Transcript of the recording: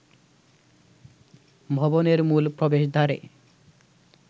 ভবনের মূল প্রবেশদ্বারে